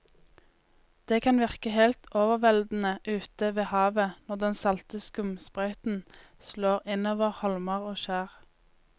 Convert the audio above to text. Det kan virke helt overveldende ute ved havet når den salte skumsprøyten slår innover holmer og skjær.